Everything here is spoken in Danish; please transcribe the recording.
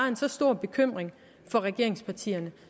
en så stor bekymring for regeringspartierne